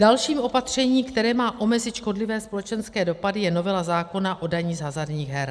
Další opatření, které má omezit škodlivé společenské dopady, je novela zákona o dani z hazardních her.